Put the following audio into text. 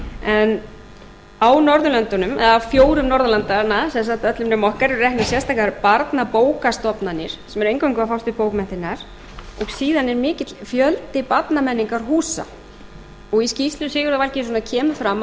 en á fjórum norðurlandanna sem sagt öllum nema okkar er reknar sérstakar barnabókastofnanir sem eingöngu eru að fást við bókmenntirnar og síðan er mikill fjöldi barnamenningarhúsa og í skýrslu sigurðar valgeirssonar kemur fram að